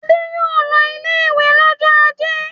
Adé yóò lọ ilé-ìwé lọ́jọ́ ajé.